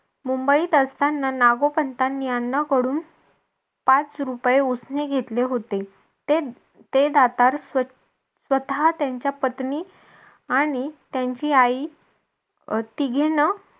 मुंबईत असताना नागोपंतांनी अण्णांकडून पाच रुपये उसने घेतले होते. ते दातार स्वतः त्यांच्या पत्नी आणि त्यांची आई अं तिघींनी